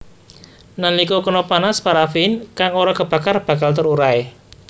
Nalika kena panas paraffin kang ora kebakar bakal terurai